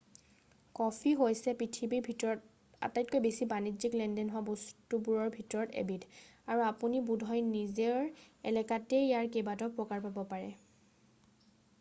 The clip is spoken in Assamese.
কফি হৈছে পৃথিৱীৰ ভিতৰত আটাইতকৈ বেছি বাণিজ্যিক লেনদেন হোৱা বস্তুবোৰৰ ভিতৰত এবিধ আৰু আপুনি বোধহয় নিজৰ এলেকাতেই ইয়াৰ কেইবাটাও প্ৰকাৰ পাব পাৰে